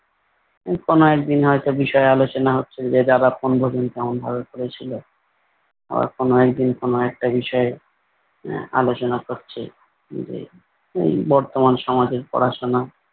উহ কোনো একদিন হয়ত বিষয়ে আলোচনা হচ্ছে যে তারা বনভোজন কেমন ভাবে করেছিল। আবার কোনো একদিন কোনো একটা বিষয়ে আহ আলোচনা করছে যে এই বর্তমান সমাজের পড়াশোনা।